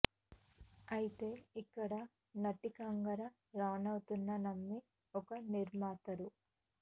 అయితే ఇక్కడ నటి కంగనా రానౌత్ను నమ్మి ఒక నిర్మాత రూ